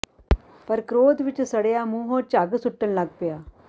ਪਰ ਕ੍ਰੋਧ ਵਿੱਚ ਸੜਿਆ ਮੁੰਹੋਂ ਝੱਗ ਸੁਟਣ ਲੱਗ ਪਿਆ